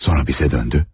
Sonra bizə döndü.